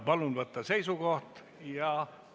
Palun võtta seisukoht ja hääletada!